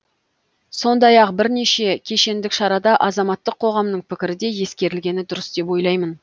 сондай ақ бірнеше кешендік шарада азаматтық қоғамның пікірі де ескерілгені дұрыс деп ойлаймын